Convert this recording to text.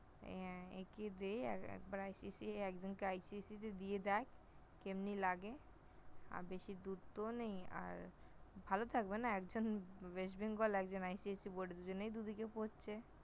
অ্যাঁ একে দে একবার ICSE একজনকে ICSE তে দিয়ে দেখ কেমনি লাগে । আহ বেশী দূর তো নেই! আর ভালো থাকবে না একজন West Bengal একজন ICSE Board দুজনেই দুদিকে পড়ছে